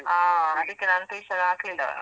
ಹಾ ಅದಿಕ್ಕೆ ನಾನ್ tuition ಹಾಕ್ಲಿಲ್ಲ.